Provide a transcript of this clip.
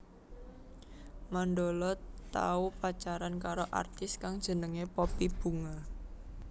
Mandala tau pacaran karo artis kang jenengé Poppy Bunga